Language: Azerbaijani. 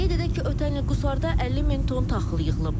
Qeyd edək ki, ötən il Qusarda 50 min ton taxıl yığılıb.